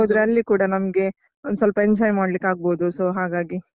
ಹೋದ್ರೆ ಅಲ್ಲಿ ಕೂಡ ನಮ್ಗೆ ಒಂದ್ ಸ್ವಲ್ಪ enjoy ಮಾಡ್ಲಿಕ್ಕಾಗ್ಬೋದು so ಹಾಗಾಗಿ.